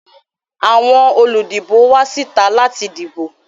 Àwọn olùdìbò wá síta láti dìbò